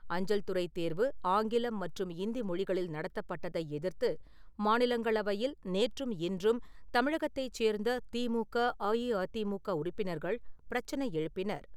அஞ்சல்துறைத் தேர்வு ஆங்கிலம் மற்றும் இந்தி மொழிகளில் நடத்தப்பட்டதை எதிர்த்து, மாநிலங்களவையில் நேற்றும் இன்றும் தமிழகத்தைச் சேர்ந்த திமுக, அஇஅதிமுக உறுப்பினர்கள் பிரச்சனை எழுப்பினர்.